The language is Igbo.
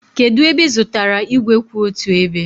kedu ebe ị zụtara igwe kwụ otu ebe